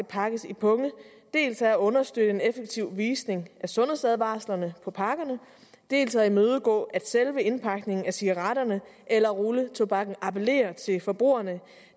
pakkes i punge dels er at understøtte en effektiv visning af sundhedsadvarslerne på pakkerne dels at imødegå at selve indpakningen af cigaretterne eller rulletobakken appellerer til forbrugerne